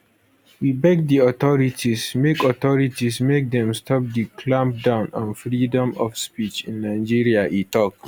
we beg di authorities make authorities make dem stop di clampdown on freedom of speech in nigeria e tok